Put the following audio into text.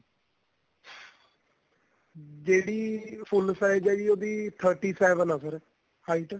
ਜਿਹੜੀ full size ਏ ਜੀ ਉਹਦੀ thirty seven ਏ ਫੇਰ height